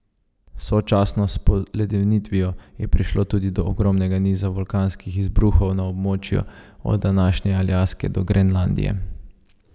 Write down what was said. Sočasno s poledenitvijo je prišlo tudi do ogromnega niza vulkanskih izbruhov na območju od današnje Aljaske do Grenlandije.